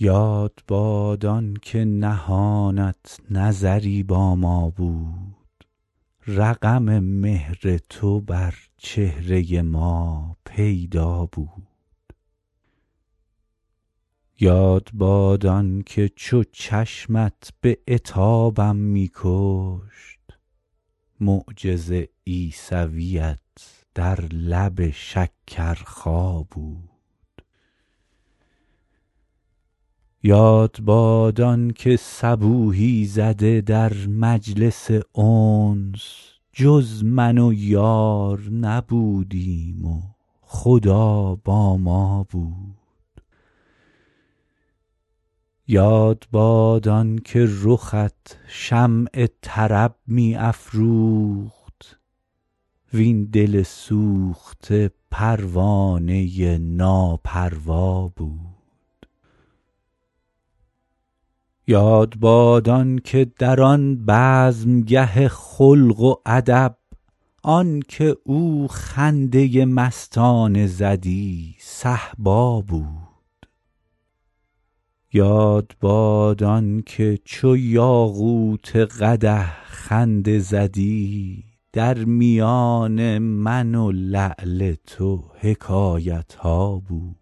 یاد باد آن که نهانت نظری با ما بود رقم مهر تو بر چهره ما پیدا بود یاد باد آن که چو چشمت به عتابم می کشت معجز عیسویت در لب شکرخا بود یاد باد آن که صبوحی زده در مجلس انس جز من و یار نبودیم و خدا با ما بود یاد باد آن که رخت شمع طرب می افروخت وین دل سوخته پروانه ناپروا بود یاد باد آن که در آن بزمگه خلق و ادب آن که او خنده مستانه زدی صهبا بود یاد باد آن که چو یاقوت قدح خنده زدی در میان من و لعل تو حکایت ها بود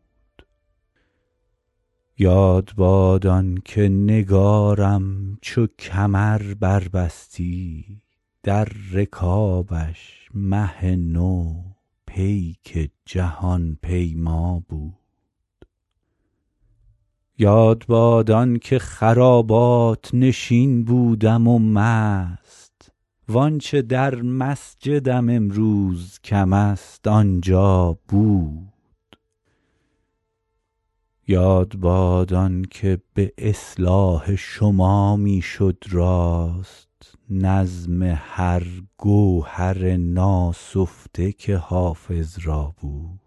یاد باد آن که نگارم چو کمر بربستی در رکابش مه نو پیک جهان پیما بود یاد باد آن که خرابات نشین بودم و مست وآنچه در مسجدم امروز کم است آنجا بود یاد باد آن که به اصلاح شما می شد راست نظم هر گوهر ناسفته که حافظ را بود